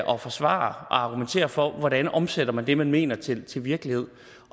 og forsvare og argumentere for hvordan man omsætter det man mener til til virkelighed